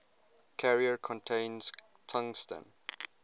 carrier contains tungsten